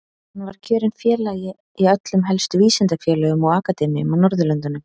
Hann var kjörinn félagi í öllum helstu vísindafélögum og akademíum á Norðurlöndum.